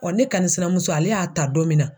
ne kanni sinamuso ,ale y'a ta don min na